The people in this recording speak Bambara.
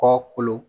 Kɔ kolon